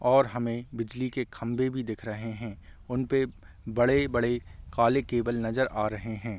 और हमें बिजली के खम्भे भी दिख रहे हैं। उन पे बड़े-बड़े काले केबल नज़र आ रहे हैं।